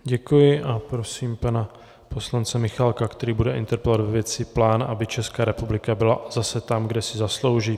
Děkuji a prosím pana poslance Michálka, který bude interpelovat ve věci plán, aby Česká republika byla zase tam, kde si zaslouží.